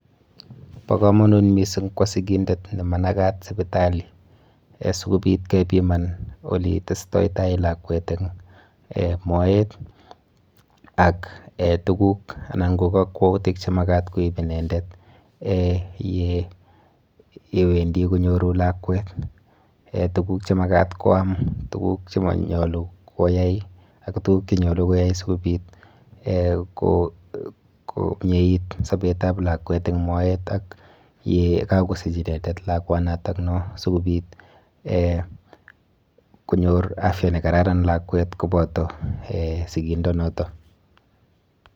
Bo kamanut mising kwo sikindet ne manakat sipitali,[um] si kobit kepiman ole testoi tai lakwet eng um moet ak um tukuk anan ko kakwautik che makat koib inendet um ye wendi konyoru lakwet,[um] tukuk che makat koam, tukuk che manyalu koyai ak tukuk che nyalu koyai sikobit um komieit sobetab lakwet eng moet ak ye kakosich inendet lakwanatakno, sikobit um konyor afya ne kararan lakwet koboto um sikindonoto.